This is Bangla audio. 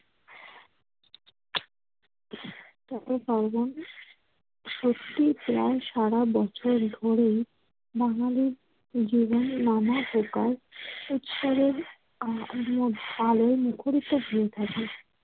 সত্যি প্রায় সারা বছর ধরেই বাঙালির জীবনে নানা প্রকার উৎসবের আ~ আমোদ আলোয় মুখরিত হয়ে থাকে।